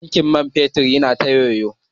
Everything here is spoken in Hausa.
Tankin man fetur yana ta yoyo.